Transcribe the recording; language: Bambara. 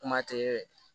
Kuma tɛ